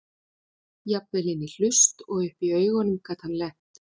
Jafnvel inn í hlust og upp í augun gat hann lent.